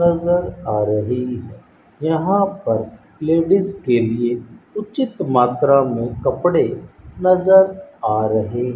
नजर आ रही है यहां पर लेडिस के लिए उचित मात्रा में कपड़े नजर आ रहे --